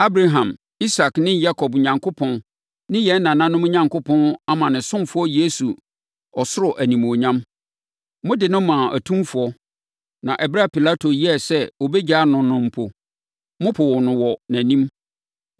Abraham, Isak ne Yakob Onyankopɔn ne yɛn nananom Onyankopɔn ama ne ɔsomfoɔ Yesu ɔsoro animuonyam. Mode no maa atumfoɔ; na ɛberɛ a Pilato yɛɛ sɛ ɔbɛgyaa no no mpo, mopoo no wɔ nʼanim.